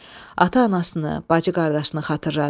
Ata-anasını, bacı-qardaşını xatırladı.